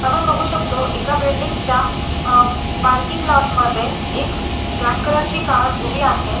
आपण बघू शकतो एका बिल्डिंग च्या अह पार्किंग लॉट मध्ये एक ब्लॅक कलर ची कार उभी आहे.